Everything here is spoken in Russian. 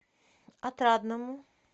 отрадному